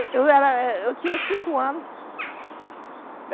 E eu era... eu tinha cinco anos.